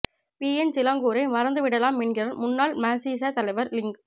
PN சிலாங்கூரை மறந்து விடலாம் என்கிறார் முன்னாள் மசீச தலைவர் லிங்